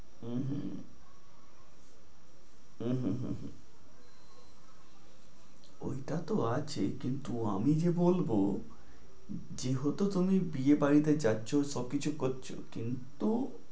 হু হু, হু হু হু হু। ঐটাতো আছেই কিন্তু আমি যে বলবো, যেহেতু তুমি বিয়ে বাড়িতে যাচ্ছো সবকিছু করছো, কিন্তু